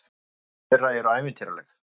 Nöfn þeirra eru ævintýraleg.